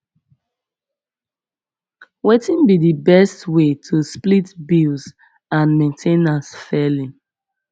wetin be di best way to split bills and main ten ance fairly